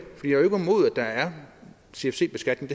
der er cfc beskatning